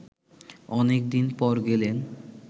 অনেক দিন পর গেলেন